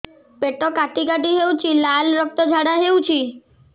ପେଟ କାଟି କାଟି ହେଉଛି ଲାଳ ରକ୍ତ ଝାଡା ହେଉଛି